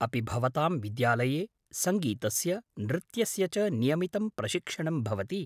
अपि भवतां विद्यालये सङ्गीतस्य नृत्यस्य च नियमितं प्रशिक्षणं भवति?